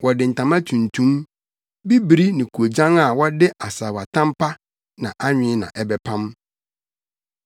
Wɔde ntama tuntum, bibiri ne koogyan a wɔde asaawatam pa na anwen na ɛbɛpam.